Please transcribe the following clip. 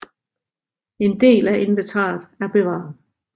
En del af inventaret er bevaret